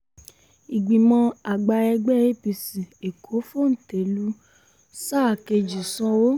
ìgbìmọ̀ àgbà ẹgbẹ́ apc èkó fòńté lu sáà kejì sanwó